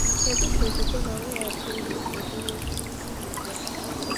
Kedu ka okwukwe na mweghachi ndụ si bụrụ uru ugbu a?